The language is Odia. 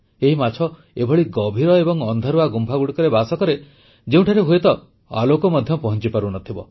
ଏହି ମାଛ ଏଭଳି ଗଭୀର ଏବଂ ଅନ୍ଧାରୁଆ ଗୁମ୍ଫାଗୁଡ଼ିକରେ ବାସ କରେ ଯେଉଁଠାରେ ହୁଏତ ଆଲୋକ ମଧ୍ୟ ପହଂଚିପାରୁନଥିବ